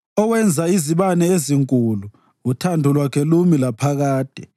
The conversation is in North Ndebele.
Owenza izibane ezinkulu, uthando lwakhe lumi laphakade.